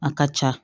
A ka ca